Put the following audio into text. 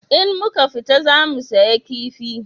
In muka fita za mu saya kifi